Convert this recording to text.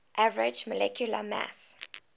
average molecular mass